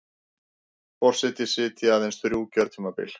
Forseti sitji aðeins þrjú kjörtímabil